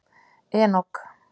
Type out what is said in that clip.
Enok